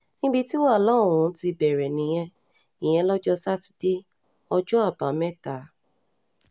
níbi tí wàhálà um ọ̀hún ti bẹ̀rẹ̀ nìyẹn ìyẹn lọ́jọ́ sátidé um ọjọ́ àbámẹ́ta